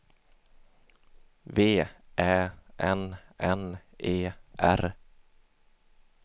V Ä N N E R